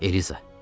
Eliza.